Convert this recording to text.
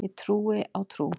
Ég trúi á trú.